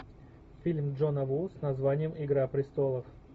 фильм джона ву с названием игра престолов